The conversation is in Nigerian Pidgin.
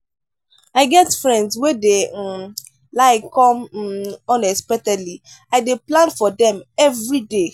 i get friends wey dey um like come um unexpectedly i dey plan for dem everyday.